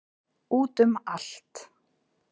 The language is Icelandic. Út um allt.